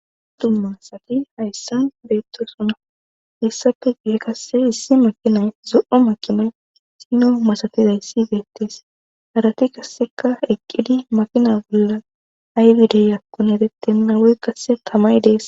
Dumma asati hayssan beettosona hessafe guhe kasse issi makinay zo7o makinan sino masatizay si beettes harati kasseka eqqidi makina bolla aybidey akkon etettenna woy qasse tamay dees.